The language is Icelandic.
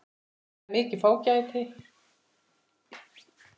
Það er mikið fágæti.